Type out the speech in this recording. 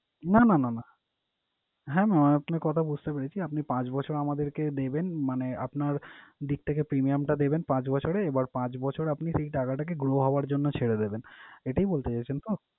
না না না না, হ্যাঁ mam আপনার কথা বুঝতে পেরেছি। আপনি পাঁচ বছর আমাদেরকে দেবেন মানে আপনার দিক থেকে premium টা দিবেন পাঁচ বছরে, এবার পাঁচ বছর আপনি সেই টাকাটাকে grow হওয়ার জন্য ছেড়ে দেবেন। এটাই বলতে চাইছেন তো?